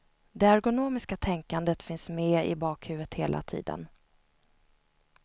Det ergonomiska tänkandet finns med i bakhuvudet hela tiden.